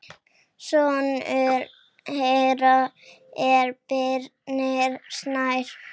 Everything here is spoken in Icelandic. Sonur þeirra er Birnir Snær.